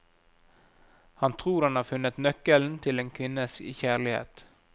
Han tror han har funnet nøkkelen til en kvinnes kjærlighet.